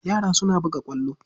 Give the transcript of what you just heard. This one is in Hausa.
Yara suna buga ƙwallo.